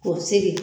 K'o sigi